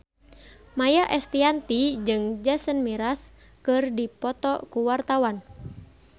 Maia Estianty jeung Jason Mraz keur dipoto ku wartawan